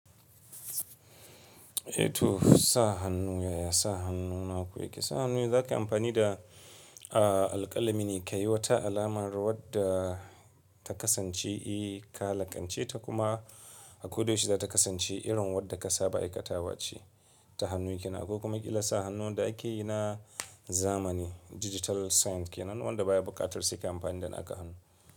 Eh to sa hannu yaya sa hannuna ku yake? Sa hannu yanzu zaka yi amfani da, ah alƙalami ne ka yi wata alamar wadda ta kasance i ka laƙance ta kuma a ko da yaushe za ta kasance irin wadda ka saba aikatawa ce ta hannu ki na. Akwai kuma kila sa hannu wanda ake yi na zamani digital sign ke nan wanda baya buƙatar suki amfani da naka hannu.